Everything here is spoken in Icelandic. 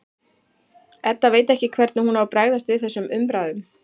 Edda veit ekki hvernig hún á að bregðast við þessum umræðum.